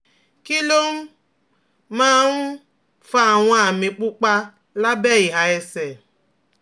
Kí ló um máa ń um fa àwọn àmì pupa lábẹ́ ìhà ẹsẹ̀?